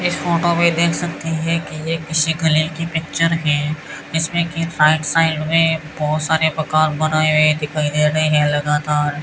इस फोटो में देख सकते हैं कि ये किसी कलर की पिक्चर है इसमें की राइट साइड में बहुत सारे मकान बनाए हुए दिखाई दे रहे हैं लगातार --